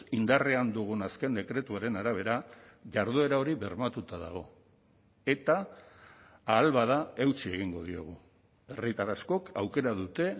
indarrean dugun azken dekretuaren arabera jarduera hori bermatuta dago eta ahal bada eutsi egingo diogu herritar askok aukera dute